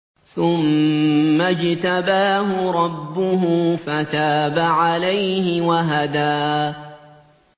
ثُمَّ اجْتَبَاهُ رَبُّهُ فَتَابَ عَلَيْهِ وَهَدَىٰ